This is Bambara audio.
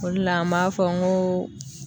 O de la an b'a fɔ n ko